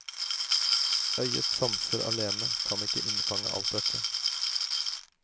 Øyets sanser alene kan ikke innfange alt dette.